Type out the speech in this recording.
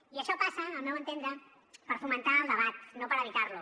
i això passa al meu entendre per fomentar el debat no per evitar lo